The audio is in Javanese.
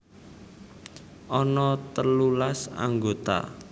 Ana telulas anggota